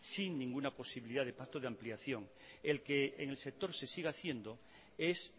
sin ninguna posibilidad de pacto de ampliación el que en el sector se siga haciendo es